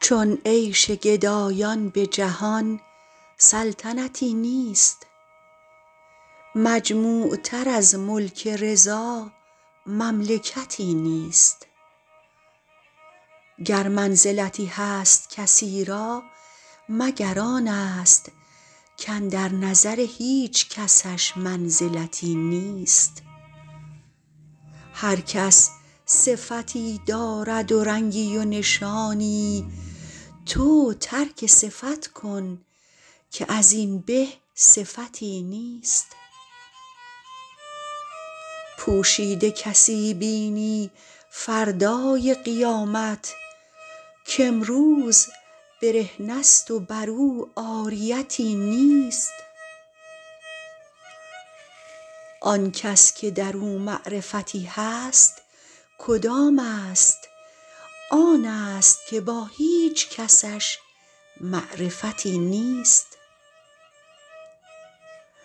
چون عیش گدایان به جهان سلطنتی نیست مجموع تر از ملک رضا مملکتی نیست گر منزلتی هست کسی را مگر آن است کاندر نظر هیچ کسش منزلتی نیست هر کس صفتی دارد و رنگی و نشانی تو ترک صفت کن که از این به صفتی نیست پوشیده کسی بینی فردای قیامت کامروز برهنه ست و بر او عاریتی نیست آن کس که در او معرفتی هست کدام است آن است که با هیچ کسش معرفتی نیست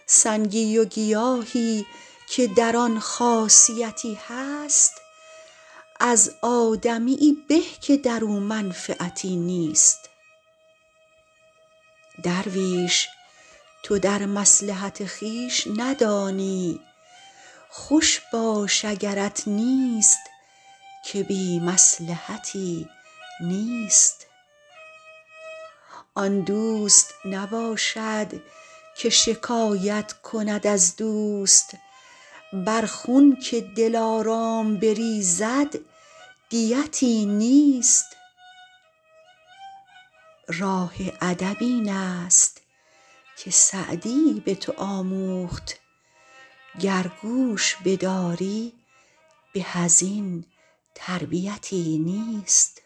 سنگی و گیاهی که در آن خاصیتی هست از آدمیی به که در او منفعتی نیست درویش تو در مصلحت خویش ندانی خوش باش اگرت نیست که بی مصلحتی نیست آن دوست نباشد که شکایت کند از دوست بر خون که دلارام بریزد دیتی نیست راه ادب این است که سعدی به تو آموخت گر گوش بداری به از این تربیتی نیست